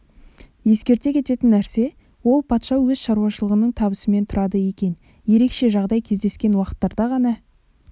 ескерте кететін нәрсе ол патша өз шаруашылығының табысымен тұрады екен ерекше жағдай кездескен уақыттарда ғана